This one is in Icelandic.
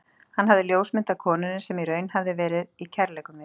Hann hafði ljósmynd af konunni, sem í raun hafði verið í kærleikum við